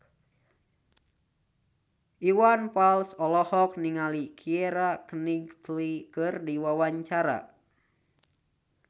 Iwan Fals olohok ningali Keira Knightley keur diwawancara